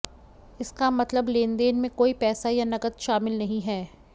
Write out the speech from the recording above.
इसका मतलब लेनदेन में कोई पैसा या नकद शामिल नहीं है